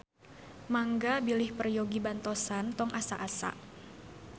Mangga bilih peryogi bantosan tong asa-asa.